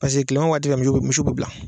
Paseke kilema waati fɛ misiw misiw bɛ bila